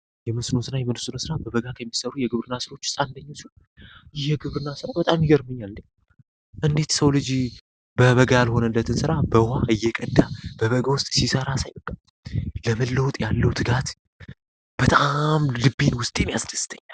የመስኖ ስራ ይመስላ በበጋ ከሚሰሩ ስራዎች ውስጥ አንደኛው ነው ይሄ ግብርና ስራ ይገርመኛል እንዴት የሰው ልጅ በበጋ ያልሆነትን ስራ በበጋው ወር ውሃ እየቀዳ ይሠራል ለመለወጥ ያለው እቅድ በጣም ልቤ ውስጥ ያስደስተኛል።